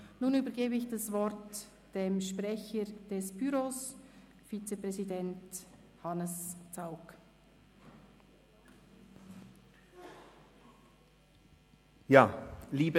Nun übergebe ich dem Sprecher des Büros und Vizepräsidenten Hannes Zaugg das Wort.